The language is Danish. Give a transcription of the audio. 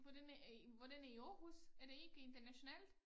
Hvordan er i hvordan er i Aarhus er det ikke international?